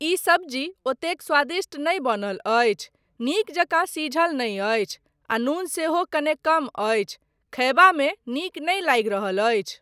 ई सब्जी ओतेक स्वादिष्ट नहि बनल अछि, नीक जकाँ सीझल नहि अछि आ नून सेहो कने कम अछि, खयबामे नीक नहि लागि रहल अछि।